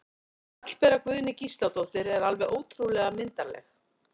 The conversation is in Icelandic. Hallbera Guðný Gísladóttir er alveg ótrúlega myndarleg